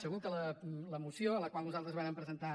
segur que la moció a la qual nosaltres vàrem presen·tar